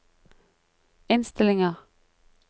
innstillinger